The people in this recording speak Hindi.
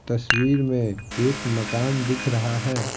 तस्वीर में एक मकान दिख रहा है।